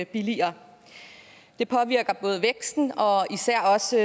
billigere det påvirker både væksten og især også